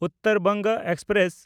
Uttar Banga express